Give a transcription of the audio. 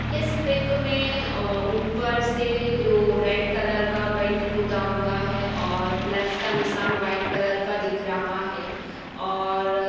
इस पिक में अ ऊपर से जो रेड कलर का पेंट पुता हुआ है और प्लस का निशान वाइट कलर का दिख रहा है और --